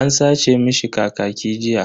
An sace mishi kakaki jiya.